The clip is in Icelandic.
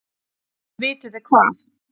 En vitiði hvað?